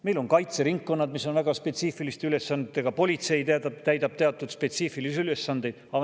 Meil on kaitseringkonnad, mis on väga spetsiifiliste ülesannetega, politsei täidab teatud spetsiifilisi ülesandeid.